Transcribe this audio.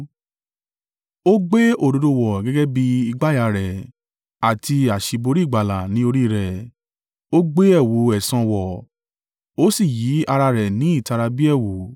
Ó gbé òdodo wọ̀ gẹ́gẹ́ bí ìgbàyà rẹ̀, àti àṣíborí ìgbàlà ní orí rẹ̀; ó gbé ẹ̀wù ẹ̀san wọ̀ ó sì yí ara rẹ̀ ní ìtara bí ẹ̀wù.